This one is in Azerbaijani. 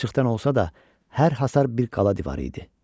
Palçıqdan olsa da, hər hasar bir qala divarı idi.